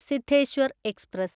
Siddheshwar express